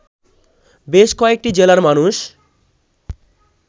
বেশ কয়েকটি জেলার মানুষ